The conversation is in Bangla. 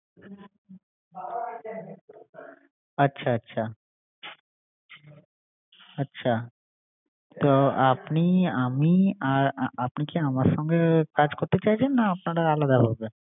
জুস পাওয়া যাবে মানে সব কিছুই আরকি, আচ্ছা আচ্ছা, ফলের যত রকম যাহ যাহ জিনিস থাকে আচ্ছা সবকিছুই। তো আপনি আমি আর অ¬ অপনি কি আমার সংঘে এ কাজ করতে চাইছেন না আপনারা আলদাভাবে